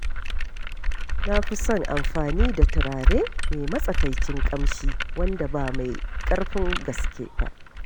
Na fi son amfani da turare mai matsakaicin ƙamshi wanda ba mai ƙarfin gaske ba.